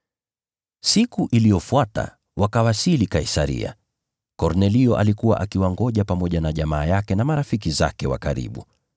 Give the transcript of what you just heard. Siku iliyofuata wakawasili Kaisaria. Kornelio alikuwa akiwangoja pamoja na jamaa yake na marafiki zake wa karibu.